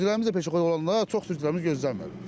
Sürücülərimiz də peşəxo olanda çox sürücülərimiz gözlənmir.